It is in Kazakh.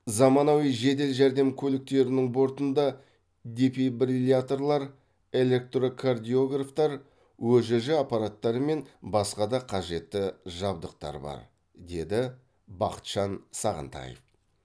заманауи жедел жәрдем көліктерінің бортында дефибрилляторлар электрокардиографтар өжж аппараттары мен басқа да қажетті жабдықтар бар деді бақытжан сағынтаев